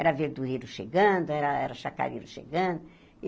Era verdureiro chegando, era chacareiro chegando. E